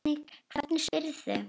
Hvernig spyrðu.